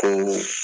Ko